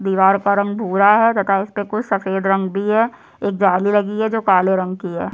दीवार का रंग भूरा है तथा इसपे कुछ सफ़ेद रंग भी है एक जाली लगी है जो काले रंग की है।